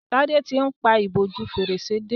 Tade tí ń pá ìbòjú Fèrèsé dé.